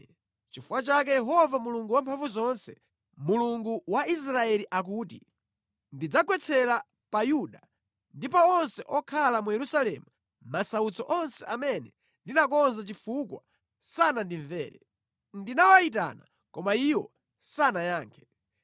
“Nʼchifukwa chake Yehova Mulungu Wamphamvuzonse, Mulungu wa Israeli akuti, ‘Ndidzagwetsera pa Yuda ndi pa onse okhala mu Yerusalemu masautso onse amene ndinakonza chifukwa sanandimvere. Ndinawayitana koma iwo sanayankhe.’ ”